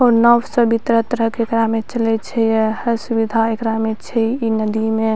और नाव सब भी तरह-तरह के एकरा में चले छै या हर सुविधा एकरा में छै इ नदी में --